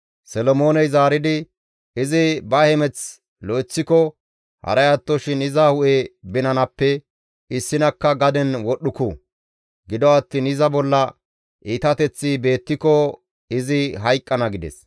Solomooney zaaridi, «Izi ba hemeth lo7eththiko haray attoshin iza hu7e binanappe issinakka gaden wodhdhuku; gido attiin iza bolla iitateththi beettiko izi hayqqana» gides.